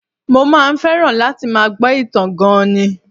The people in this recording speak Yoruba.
Mo máa ń fẹ́ràn láti máa gbọ́ ìtàn gan-an ni